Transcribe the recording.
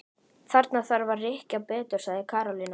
Þarf ég þá að láta verða að því?